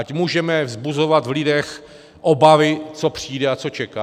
Ať můžeme vzbuzovat v lidech obavy, co přijde a co čeká?